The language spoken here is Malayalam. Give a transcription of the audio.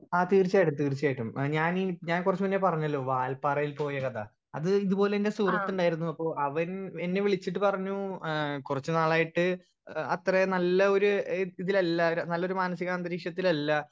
സ്പീക്കർ 1 ആ തീർച്ചായിട്ടും തീർച്ചായിട്ടും ആ ഞാൻ ഈ ഞാൻ കൊറച്ച് മുന്നേ പറഞ്ഞലോ വാല്പാറയിൽ പോയാ കഥ അത് ഇതുപോലെ എന്റെ സുഹൃത്തിണ്ടായിരുന്നു അപ്പൊ അവൻ എന്നെ വിളിച്ചിട്ട് പറഞ്ഞു ഏഹ് കൊറച്ച് നാളായിട്ട് ഏഹ് അത്രേ നല്ല ഒര് എഹ് ഇതിലല്ല നല്ലൊരു മനസികാന്തരീക്ഷത്തിലല്ല.